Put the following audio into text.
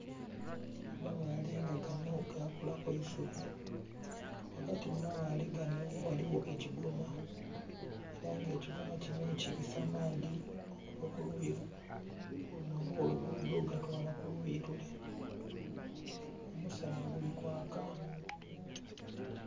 Amabaale nga ganho gakula eisubi wagati mumabaale gano ghaligho ekigoma era nga ekigoma kino kibisa maadhi okuva kuluuyi luno olwolugudho ogatwala kuluuyi lule omusana gulikwaka.